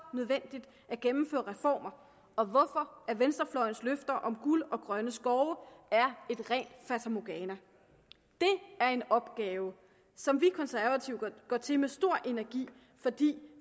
nødvendigt at gennemføre reformer og hvorfor venstrefløjens løfter om guld og grønne skove er et rent fatamorgana det er en opgave som vi konservative går til med stor energi fordi